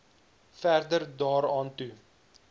verder daaraan toe